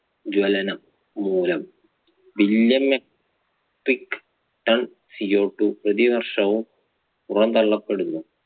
ജ്വലനം മൂലം billion metric tonCOtwo വർഷവും പുറന്തള്ളപ്പെടുന്നു.